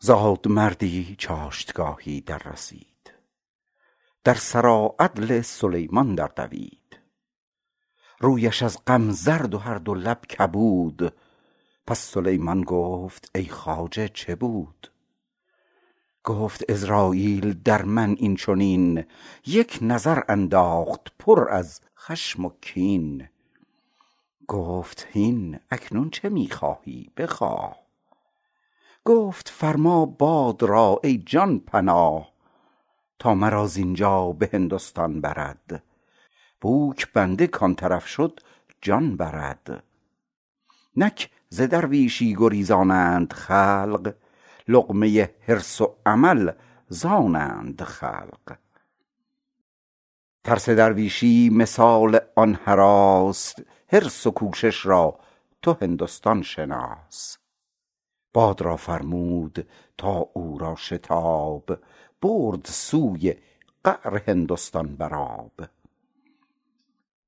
زادمردی چاشتگاهی دررسید در سراعدل سلیمان در دوید رویش از غم زرد و هر دو لب کبود پس سلیمان گفت ای خواجه چه بود گفت عزراییل در من این چنین یک نظر انداخت پر از خشم و کین گفت هین اکنون چه می خواهی بخواه گفت فرما باد را ای جان پناه تا مرا زینجا به هندستان برد بوک بنده کان طرف شد جان برد نک ز درویشی گریزانند خلق لقمه حرص و امل ز آنند خلق ترس درویشی مثال آن هراس حرص و کوشش را تو هندستان شناس باد را فرمود تا او را شتاب برد سوی قعر هندستان بر آب